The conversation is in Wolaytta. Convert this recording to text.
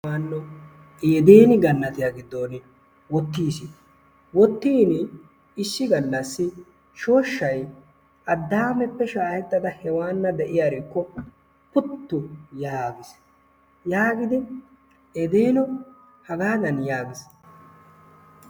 Eedene gannatiyaa giddon wottiis. Woottiini issi gallaassi shooshshay adameppe shaahettada heewana de'iyarikko puttu yaagis. yaagidi eedeno hagaadan yaagiis.